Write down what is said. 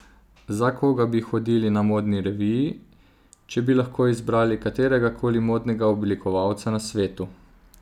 Za koga bi hodili na modni reviji, če bi lahko izbrali katerega koli modnega oblikovalca na svetu?